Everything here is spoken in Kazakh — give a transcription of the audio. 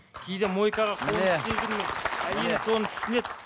кейде мойкаға әйелім соны түсінеді